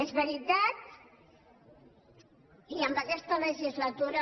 és veritat i en aquesta legislatura